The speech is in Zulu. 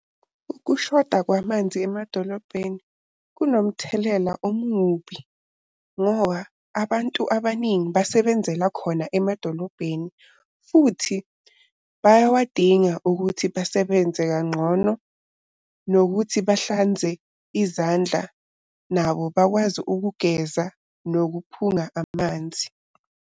Ukushoda kwamanzi emadolobheni kunomthelela omubi ngoba abantu abaningi basebenzela khona emadolobheni futhi bayawadinga ukuthi basebenze kangcono nokuthi bahlanze izandla. Nabo bakwazi ukugeza nokuphunga amanzi.